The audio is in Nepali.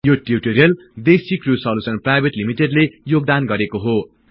यो टिउटोरियल देशीक्रृयु सोलुस्न प्राईभेट लिमिटेडले योगदान गरेको हो